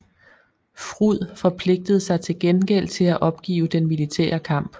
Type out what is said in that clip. FRUD forpligtede sig til gengæld til at opgive den militære kamp